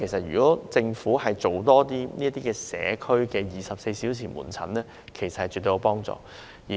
如果政府提供這類社區24小時門診服務，其實絕對是好事。